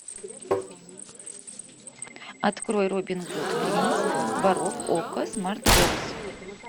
открой робин гуд принц воров окко смарт бокс